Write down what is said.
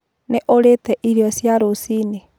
Nĩũrĩte irio cia rũciinĩ